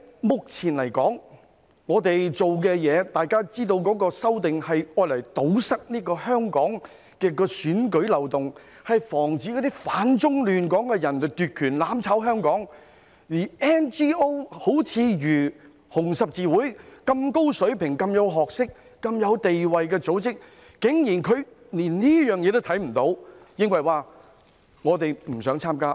目前，大家知道這次修訂是為了堵塞香港的選舉漏洞，防止反中亂港的人奪權，"攬炒"香港，而 NGO—— 如紅十字會般有高水平、學識及地位的組織——竟然連這一點也看不見，而認為不想參加。